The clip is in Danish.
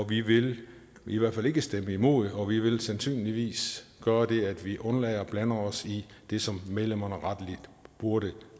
vi vil i hvert fald ikke stemme imod og vi vil sandsynligvis gøre det at vi undlader at blande os i det som medlemmerne rettelig burde